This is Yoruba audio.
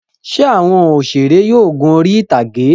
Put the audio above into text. Ṣé àwọn òṣèré yóò gun orí-ìtàgé?